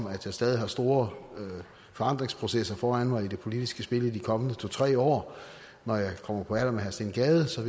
at jeg stadig har store forandringsprocesser foran mig i det politiske spil i de kommende to tre år når jeg kommer på alder med herre steen gade så